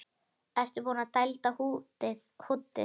Ertu búinn að dælda húddið?